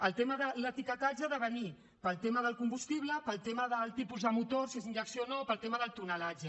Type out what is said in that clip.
el tema de l’etiquetatge ha de venir pel tema del combustible pel tema del tipus de motor si és d’injecció o no pel tema del tonatge